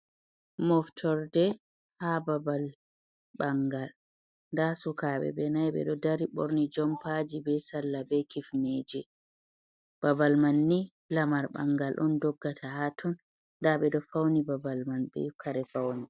"Moftorde" ha babal ɓangal nda sukabe ɓe naibe do dari borni jom paji be salla be kifneje babal man ni lamar ɓangal on doggata haton do fauni babal man be kare faune